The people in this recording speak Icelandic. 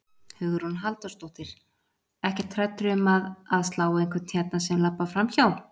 Hugrún Halldórsdóttir: Ekkert hræddur um að, að slá einhvern hérna sem labbar framhjá?